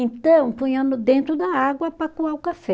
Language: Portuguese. Então, punhamos dentro da água para coar o café.